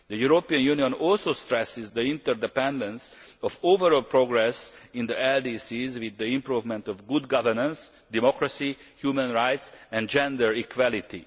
The European Union also stresses the interdependence of overall progress in the LDCs with the improvement of good governance, democracy, human rights and gender equality.